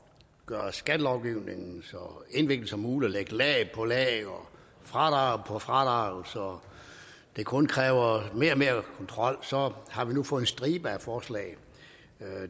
gøre skattelovgivningen så indviklet som muligt og lægge lag på lag og fradrag på fradrag så det kun kræver mere og mere kontrol så har vi nu fået en stribe af forslag